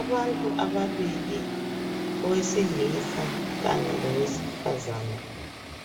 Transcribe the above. Abantu ababili owesilisa kanye lowesifazana